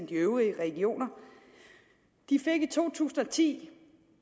de øvrige regioner de fik i to tusind og ti